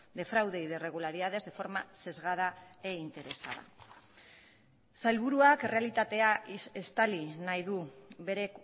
de fraude y de irregularidades de forma sesgada e interesada sailburuak errealitatea estali nahi du bere